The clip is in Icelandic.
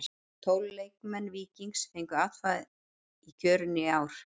Tólf leikmenn Víkings fengu atkvæði í kjörinu í ár.